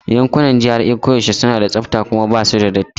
Yankunan GRA koyaushe suna da tsafta kuma ba su da datti.